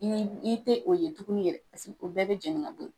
I i tɛ o ye tuguni yɛrɛ paseke o bɛɛ bɛ jeni ka bo ye.